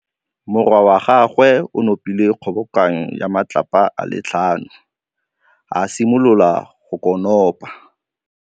Morwa wa gagwe o nopile kgobokanô ya matlapa a le tlhano, a simolola go konopa.